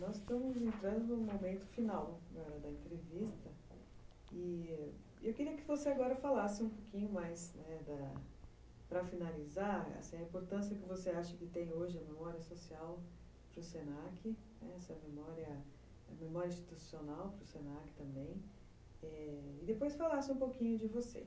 Nós estamos entrando no momento final da da entrevista e eu queria que você agora falasse um pouquinho mais, para finalizar, a importância que você acha que tem hoje a memória social para o se na que, essa memória institucional para o se na que também, e depois falasse um pouquinho de você.